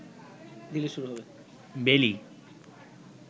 বেলি